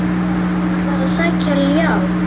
Hann var að sækja ljá.